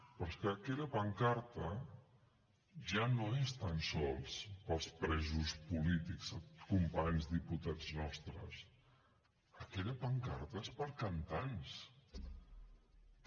però és que aquella pancarta ja no és tan sols pels presos polítics companys diputats nostres aquella pancarta és per cantants també